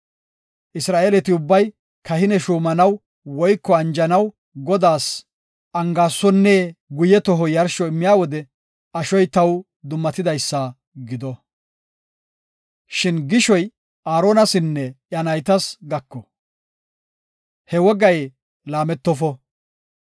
Isra7eeleti ubbay kahine shuumanaw woyko anjetanaw Godaas Angaasonne guye toho yarsho immiya wode ashoy taw dummatidaysa gido. Shin gishoy Aaronasinne iya naytas gako; he wogay laametofo.